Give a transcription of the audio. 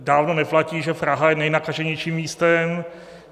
Dávno neplatí, že Praha je nejnakaženějším místem.